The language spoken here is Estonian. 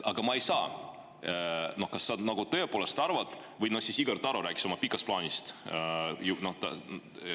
Või siis Igor Taro, kes rääkis oma pikast plaanist.